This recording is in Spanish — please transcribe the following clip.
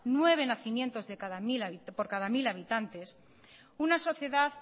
nueve nacimientos por cada mil habitantes una sociedad